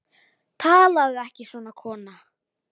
Talaðu ekki svona, kona!